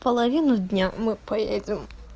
половину дня мы поедем